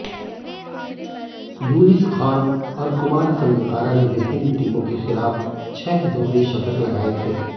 यूनिस खान और कुमार संगकारा ने विभिन्न टीमों के खिलाफ छह दोहरे शतक लगाए थे